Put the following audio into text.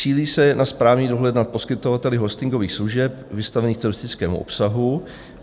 Cílí se na správní dohled nad poskytovateli hostingových služeb vystavených teroristickému obsahu.